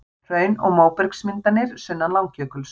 Hraun og móbergsmyndanir sunnan Langjökuls.